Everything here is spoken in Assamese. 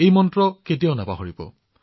এই মন্ত্ৰটো কেতিয়াও নাপাহৰিব